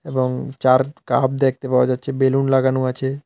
এবং চা-র কাপ দেখতে পাওয়া যাচ্ছে বেলুন লাগানো আছে।